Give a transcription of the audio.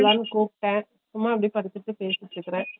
லாம்னு கூப்டேன் சும்மா அப்பிடி படுத்திட்டு பேசிட்டு இருக்குறே